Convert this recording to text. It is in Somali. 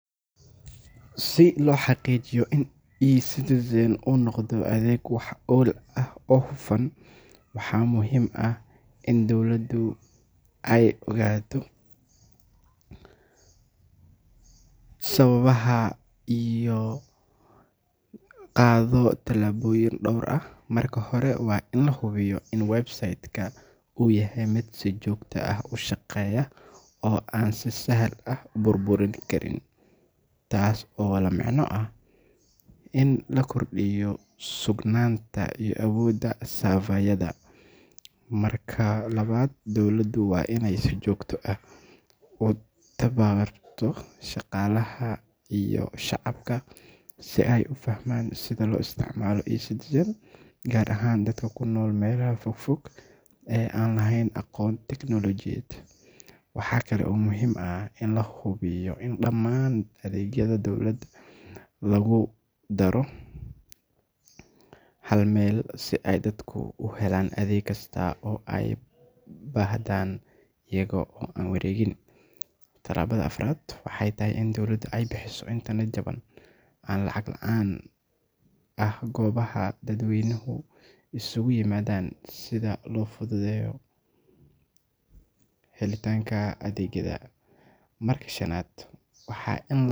Si loo xaqiijiyo in Ecitizen uu noqdo adeeg wax ku ool ah oo hufan, waxaa muhiim ah in dowladda ay qaaddo tallaabooyin dhowr ah. Marka hore, waa in la hubiyaa in website-ka uu yahay mid si joogto ah u shaqeeya oo aan si sahal ah u burburin karin, taas oo la micno ah in la kordhiyo sugnaanta iyo awoodda server-yada. Marka labaad, dowladda waa inay si joogto ah u tababbarto shaqaalaha iyo shacabka si ay u fahmaan sida loo isticmaalo Ecitizen, gaar ahaan dadka ku nool meelaha fog fog ee aan lahayn aqoon tiknoolajiyadeed. Waxa kale oo muhiim ah in la hubiyo in dhammaan adeegyada dowladda lagu daro hal meel si ay dadku uga helaan adeeg kasta oo ay u baahdaan iyaga oo aan wareegin. Tallaabada afraad waxay tahay in dowladda ay bixiso internet jaban ama lacag la’aan ah goobaha dadweynuhu isugu yimaadaan si loo fududeeyo helitaanka adeegga. Marka shanaad.